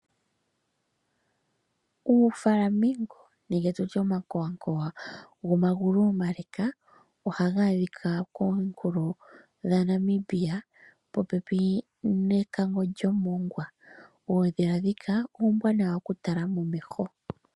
UuFlamingo nenge tutye omankowankowa gomagulu omaleka, ohaga adhika kominkulo dhaNamibia popepi nekango lyomongwa. Oondhila ndjika ombwaanawa okutala momeho.